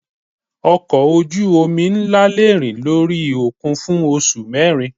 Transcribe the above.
Ọkọ̀ ojú omi ńlá le rìn lórí òkun fún oṣù mẹ́rin.